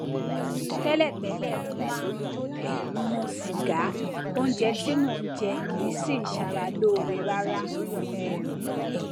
tẹlẹtẹlẹ mo máa ń um mu sìgá oúnjẹ tí mò ń jẹ kìí sìí ṣara lóore rárá um